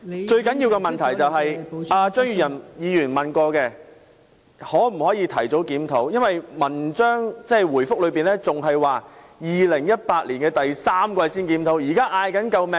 最重要的問題是，而張宇人議員亦曾詢問，局方會否提早檢討，但主體答覆表示要到2018年第三季才會檢討。